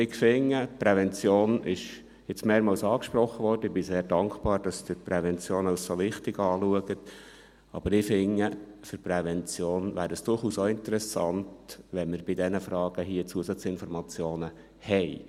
Die Prävention wurde jetzt mehrmals angesprochen – ich bin sehr dankbar, dass Sie die Prävention als so wichtig erachten –, aber ich finde, für die Prävention wäre es durchaus auch interessant, wenn wir bei diesen Fragen hier Zusatzinformationen hätten.